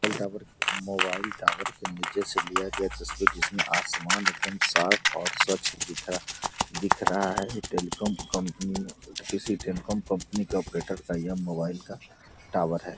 Mobile tower के नीचे से लिया गया तस्वीर जिसमें आसमान एकादम साफ और स्वच्छ दिख रहा दिख रहा है टेलीकॉम कंपनी किसी टेलीकॉम कंपनी का मोबाइल का टावर है।